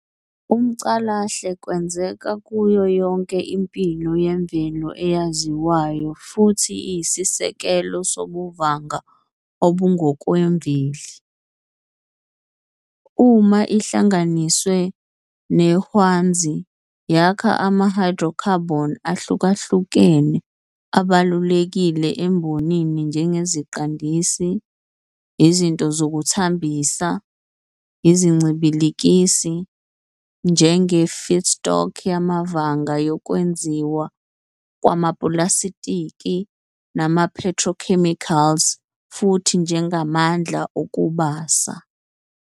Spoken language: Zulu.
UmCalahle wenzeka kuyo yonke impilo yemvelo eyaziwayo futhi iyisisekelo sobuVanga obungokwemveli. Uma ihlanganiswe nehwanzi, yakha ama-hydrocarbon ahlukahlukene abalulekile embonini njengeziqandisi, izinto zokuthambisa, izincibilikisi, njenge-feedstock yamavanga yokwenziwa kwamapulasitiki nama-petrochemicals, futhi njengamandla okubasa.